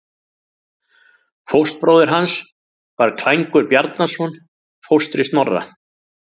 Fóstbróðir hans var Klængur Bjarnason, fóstri Snorra.